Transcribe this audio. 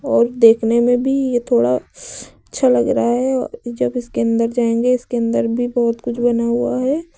और देखने में भी यह थोड़ा अच्छा लग रहा है जब इसके अंदर जाएंगे इसके अंदर भी बहुत कुछ बना हुआ है।